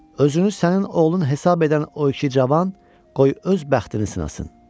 Özünü sənin oğlun hesab edən o iki cavan qoy öz bəxtini sınasın.